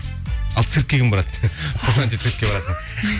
ал циркке кім барады қошанти циркке барасың